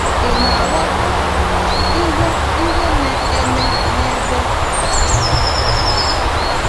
Ị̀ na - aghọta ihe ihe na - eme n’ebe a?